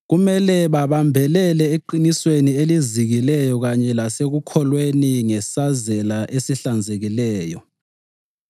Kumele babambelele eqinisweni elizikileyo kanye lasekukholweni ngesazela esihlanzekileyo.